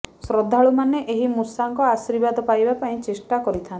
ଶ୍ରଦ୍ଧାଳୁମାନେ ଏହି ମୂଷାଙ୍କ ଆଶୀର୍ବାଦ ପାଇବା ପାଇଁ ଚେଷ୍ଟା କରିଥାନ୍ତି